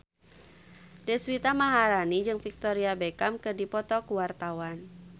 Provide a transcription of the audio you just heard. Deswita Maharani jeung Victoria Beckham keur dipoto ku wartawan